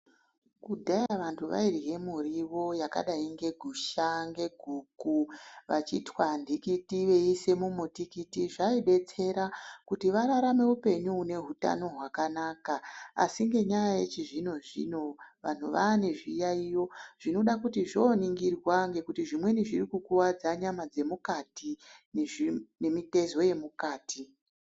Kudhaya vantu vairye miriwo yakadai ngegusha, ngeguku, vachitwa nhikiti veiise mumutikiti. Zvaidetsera kuti vararame penyu une hutano hwakanaka. Asi ngenyaya yechizvino-zvino vanhu vaane zviyaiyo zvinoda kuti zvooningirwa ngekuti zvimweni zviri kukuwadza nyama dzemukati nezvii nemitezo yemukati.